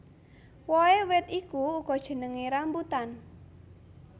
Wohé wit iku uga jenengé rambutan